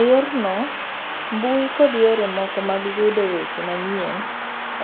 Eyorno, mbui kod yore moko mag yudo weche manyien